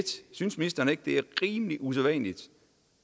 synes ministeren ikke det er rimelig usædvanligt